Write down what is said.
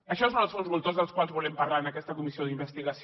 això són els fons voltors dels quals volem parlar en aquesta comissió d’investigació